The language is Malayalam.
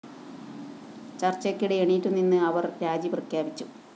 ചര്‍ച്ചയ്ക്കിടെ എണീറ്റു നിന്ന് അവര്‍ രാജിപ്രഖ്യാപിച്ചു